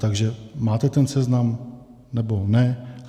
Takže máte ten seznam, nebo ne?